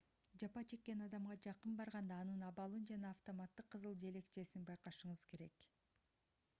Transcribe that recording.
жапа чеккен адамга жакын барганда анын абалын жана автоматтык кызыл желекчесин байкашыңыз керек